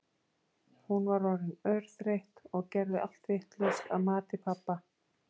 Hún var orðin örþreytt og gerði allt vitlaust að mati pabba.